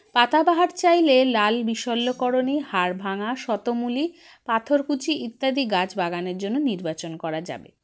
পাতাবাহার চাইলে লাল বিষল্যকরনী হাড়ভাঙা শতমূলী পাথরকুচি ইত্যাদি গাছ বাগানের জন্য নির্বাচন করা যাবে